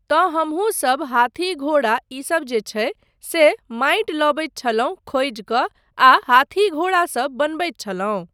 तँ हमहूँसब हाथी घोड़ा ईसब जे छै, से माटि लबैत छलहुँ खोजि कऽ आ हाथी घोड़ा सब बनबैत छलहुँ।